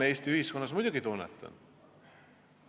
Jah, muidugi tunnetan.